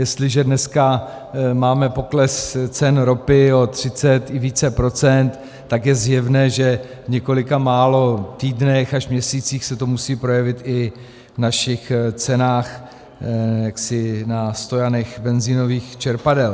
Jestliže dneska máme pokles cen ropy o 30 i více procent, tak je zjevné, že v několika málo týdnech až měsících se to musí projevit i v našich cenách na stojanech benzinových čerpadel.